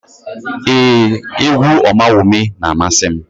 Ee, égwú Ọmawumi na-amasị m.